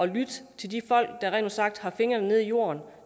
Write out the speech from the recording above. lytte til de folk der rent ud sagt har fingrene i jorden